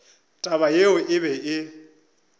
taba yeo e be e